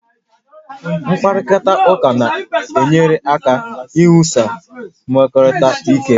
Mkparịta ụka na-enyere aka iwusi mmekọrịta ike